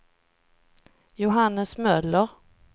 Johannes Möller